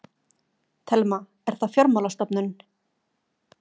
Telma: Er það fjármálastofnun?